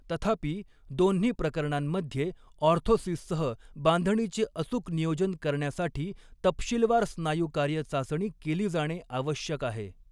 तथापि, दोन्ही प्रकरणांमध्ये, ऑर्थोसिससह बांधणीचे अचूक नियोजन करण्यासाठी तपशीलवार स्नायू कार्य चाचणी केली जाणे आवश्यक आहे.